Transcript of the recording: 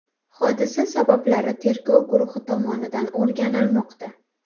Hodisa sabablari tergov guruhi tomonidan o‘rganilmoqda.